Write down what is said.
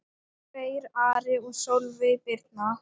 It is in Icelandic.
Freyr, Ari og Sólveig Birna.